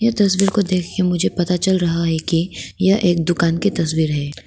यह तस्वीर को देख के मुझे पता चल रहा है कि यह एक दुकान की तस्वीर है।